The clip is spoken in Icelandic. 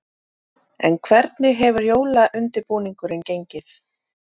En hvernig hefur jólaundirbúningurinn gengið?